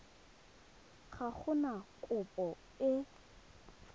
ga go na kopo e